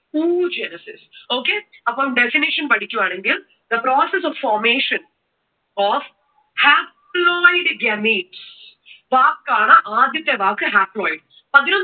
oogenesis. Okay? അപ്പോൾ definition പഠിക്കുവാണെങ്കിൽ the process of formation of haploid gametes വാക്കാണ് ആദ്യത്തെ വാക്ക് haploid.